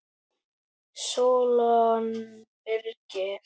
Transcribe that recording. Sólon Birkir.